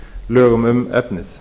lögum um efnið